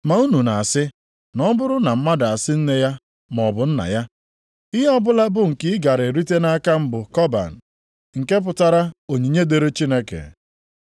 Ma unu na-asị, na ọ bụrụ na mmadụ asị nne ya maọbụ nna ya, ‘Ihe ọbụla bụ nke ị gara erite nʼaka m bụ kọban,’ (nke pụtara onyinye dịrị Chineke). + 7:11 Nke a adịghị nʼiwu Chineke nyere.